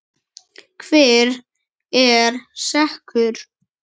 Hver er sekur?